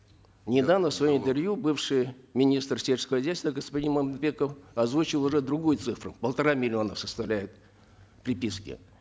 недавно в своем интервью бывший министр сельского хозяйства господин мамытбеков озвучил уже другую цифру полтора миллиона составляют приписки